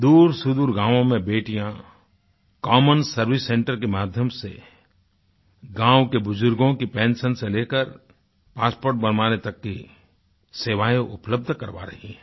दूरसुदूर गांवों में बेटियाँ कॉमन सर्वाइस सेंटर के माध्यम से गांवों के बुज़ुर्गों की पेंशन से लेकर पासपोर्ट बनवाने तक की सेवाएँ उपलब्ध करवा रही हैं